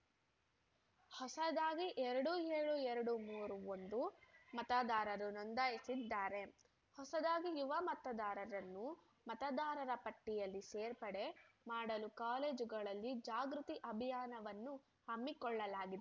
ಹೊಸದಾಗಿ ಎರಡು ಏಳು ಎರಡು ಮೂರು ಒಂದು ಮತದಾರರು ನೊಂದಾಯಿಸಿದ್ದಾರೆ ಹೊಸದಾಗಿ ಯುವ ಮತದಾರರನ್ನು ಮತದಾರರ ಪಟ್ಟಿಯಲ್ಲಿ ಸೇರ್ಪಡೆ ಮಾಡಲು ಕಾಲೇಜುಗಳಲ್ಲಿ ಜಾಗೃತಿ ಅಭಿಯಾನವನ್ನು ಹಮ್ಮಿಕೊಳ್ಳಲಾಗಿದೆ